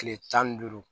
Kile tan ni duuru